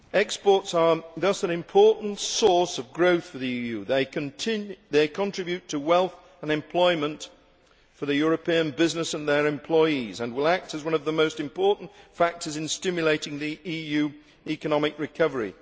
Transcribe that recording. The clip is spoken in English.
Exports are thus an important source of growth for the EU. They contribute to wealth and employment for European businesses and their employees and will act as one of the most important factors in stimulating the EU economic recovery.